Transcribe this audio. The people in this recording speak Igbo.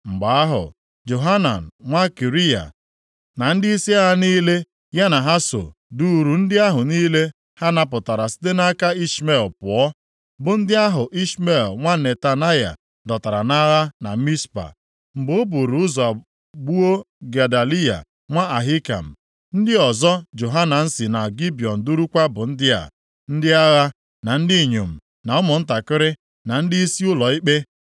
Mgbe ahụ, Johanan nwa Kariya na ndịisi agha niile ya na ha so duuru ndị ahụ niile ha napụtara site nʼaka Ishmel pụọ, bụ ndị ahụ Ishmel nwa Netanaya dọtara nʼagha na Mizpa, mgbe o buuru ụzọ gbuo Gedaliya nwa Ahikam. Ndị ọzọ Johanan si na Gibiọn durukwa bụ ndị a, ndị agha, na ndị inyom, na ụmụntakịrị, na ndịisi ụlọ ikpe.